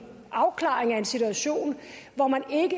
afklaring af en situation hvor man